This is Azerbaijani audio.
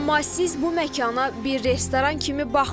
Amma siz bu məkana bir restoran kimi baxmayın.